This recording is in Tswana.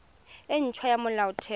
e nt hwa ya molaotheo